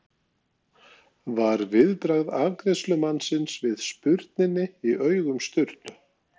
var viðbragð afgreiðslumannsins við spurninni í augum Sturlu.